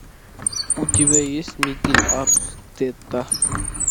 у тебя есть микель артетта